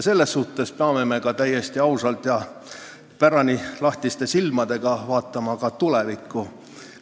Me peame täiesti ausalt ja lahtiste silmadega vaatama ka tulevikku.